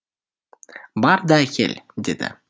бар да әкел деді